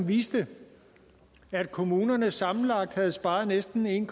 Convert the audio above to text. viste at kommunerne sammenlagt havde sparet næsten en